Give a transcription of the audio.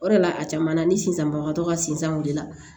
O de la a caman na ni sisan bagatɔ ka si san o de la